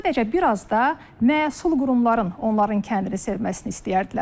Sadəcə bir az da məsul qurumların onların kəndini sevməsini istəyərdilər.